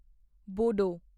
ਬੋੜੋ